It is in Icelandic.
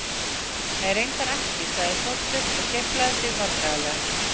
Nei, reyndar ekki- sagði Þorsteinn og geiflaði sig vandræðalega.